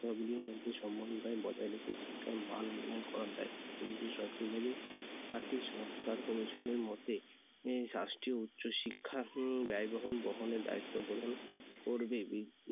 গুলির মধ্যে সমন্বয় বজায় রেখে শিক্ষার মান উন্নয়ন করার দায়িত্ব কেন্দ্রীয় সরকার নেবে। আর্থিক সংস্কার commission এর মতে রাষ্ট্রীয় উচ্চ শিক্ষা উম ব্যয়বহুল বহনের দায়িত্বগ্রহণ করবে।